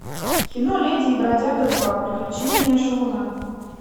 кино леди и бродяга два приключения шалуна